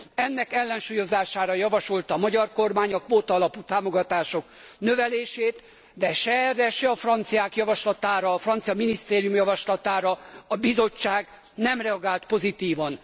Ennek ellensúlyozására javasolta a magyar kormány a kvótaalapú támogatások növelését, de se erre, se a franciák javaslatára, a francia minisztérium javaslatára a Bizottság nem reagált pozitívan.